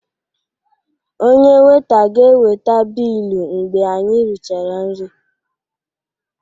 Onye Weita ga-eweta bilu mgbe anyị richara nri